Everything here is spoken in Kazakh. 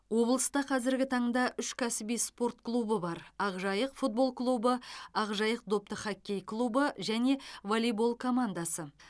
облыста қазіргі таңда үш кәсіби спорт клубы бар ақжайық футбол клубы ақжайық допты хоккей клубы және воллейбол командасы